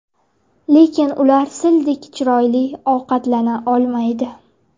Lekin ular Sildek chiroyli ovqatlana olmaydi.